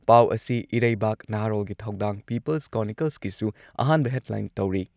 ꯄꯥꯎ ꯑꯁꯤ ꯏꯔꯩꯕꯥꯛ, ꯅꯍꯥꯔꯣꯜꯒꯤ ꯊꯧꯗꯥꯡ, ꯄꯤꯄꯜꯁ ꯀ꯭ꯔꯣꯅꯤꯀꯜꯁꯀꯤꯁꯨ ꯑꯍꯥꯟꯕ ꯍꯦꯗꯂꯥꯏꯟ ꯇꯧꯔꯤ ꯫